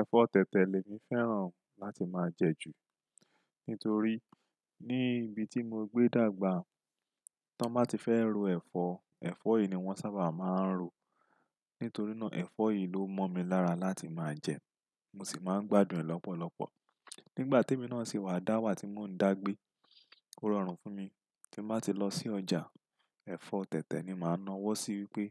Ẹ̀fọ́ tẹ̀tẹ̀ lèmi fẹ́ràn láti máa jẹ jù. Nítorí ní ibi tí mo gbé dàgbà, tí wọ́n bá ti fẹ́ ro ẹ̀fọ́, ẹ̀fọ́ yìí ni wọ́n sábà máa ń rò. Nítorí náà ẹ̀fọ́ yìí ló mọ́ mi lára láti máa jẹ, mo sì máa ń gbádùn ẹ̀ lọ́pọ̀lọpọ̀. Nígbà te mi náà sì wá dá wà tí mò ń dàgbé, ó rọrùn fún mi. Tí n bá ti lọ sí ọjà, ẹ̀fọ́ tẹ̀tẹ̀ ni màá nawọ́ sí wípé